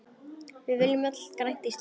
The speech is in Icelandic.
Við viljum öll grænt Ísland.